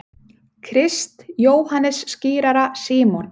Krist, Jóhannes skírara, Símon